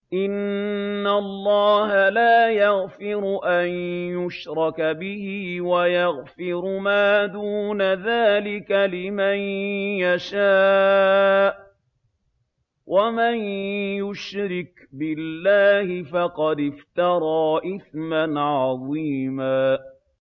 إِنَّ اللَّهَ لَا يَغْفِرُ أَن يُشْرَكَ بِهِ وَيَغْفِرُ مَا دُونَ ذَٰلِكَ لِمَن يَشَاءُ ۚ وَمَن يُشْرِكْ بِاللَّهِ فَقَدِ افْتَرَىٰ إِثْمًا عَظِيمًا